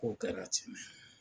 Ko kɛra ten.